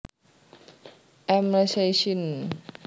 M lacei syn